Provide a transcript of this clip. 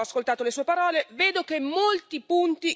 Vedo che molti punti coincidono con i nostri.